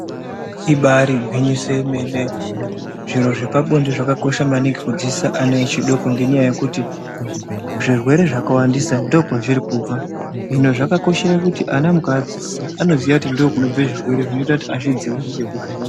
Ibari gwinyiso remene zviro zvepabonde zvakakosha maningi kudzidzisa ana echidoko ngenyaya yekuti zvirwere zvakawandisa ndokwazviri kubva hino zvakakoshera kuti ana mukavadzidzisa Anoziva kuti ndokuona zvirwere zvinoita kuti kuzvidzivirire kubva kuzvirwere izvi.